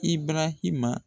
I barahima